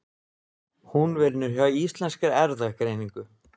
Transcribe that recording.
Hún vinnur hjá Íslenskri erfðagreiningu.